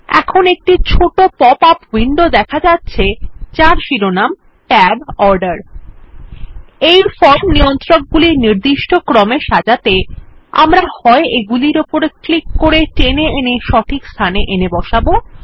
এখন একটি ছোট পপ আপ উইন্ডো দেখা যাচ্ছে যার শিরোনাম Tab অর্ডার এই ফর্ম নিয়ন্ত্রক গুলি নির্দিষ্ট ক্রমে সাজাতে আমরা হয় এগুলির উপর ক্লিক করে টেনে এনে সঠিকস্থানে এনে বসাব